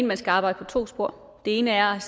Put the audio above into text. man skal arbejde ad to spor det ene er